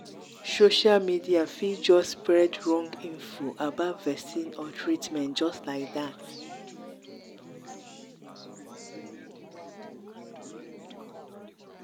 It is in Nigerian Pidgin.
social media fit just spread wrong info about vaccine or treatment just like that